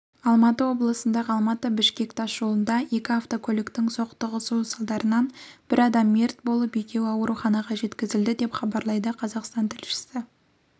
алматы облысындағы алматы-бішкек тас жолында екі автокөліктің соқтығысуы салдарынан бір адам мерт болып екеуі ауруханаға жеткізілді деп хабарлайды казахстан тілшісі